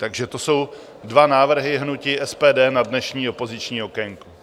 Takže to jsou dva návrhy hnutí SPD na dnešní opoziční okénko.